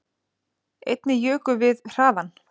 Einnig jukum við hraðann